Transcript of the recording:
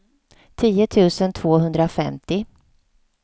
tio tusen tvåhundrafemtio